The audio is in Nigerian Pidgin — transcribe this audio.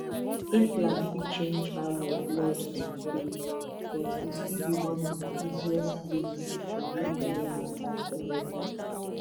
implant fit change how your blood dey flow but e still be one of the easiest ways to hold belle matter correct